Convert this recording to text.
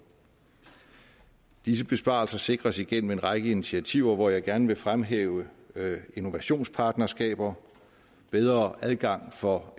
disse besparelser sikres igennem en række initiativer hvor jeg gerne vil fremhæve innovationspartnerskaber bedre adgang for